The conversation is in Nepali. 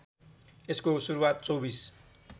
यसको सुरुवात २४